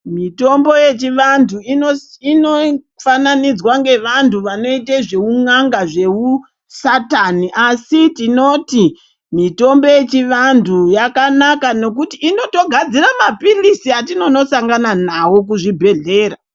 Mitombo yechivantu inofananidzwa ngevantu vanoite zveun'anga zveusatani asi tinoti mitombo yechivantu yakanaka nokuti inotogadzira mapilitsi atinosangana nawo kuzvibhedhlera.